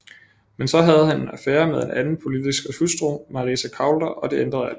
Men så havde han en affære med en anden politikers hustru Marisa Coulter og det ændrede alt